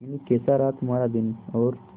मीनू कैसा रहा तुम्हारा दिन और